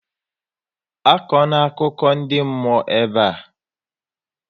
Akọ na akụkọ ndị mmụọ ebe a!